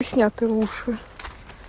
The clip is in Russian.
и снято лучше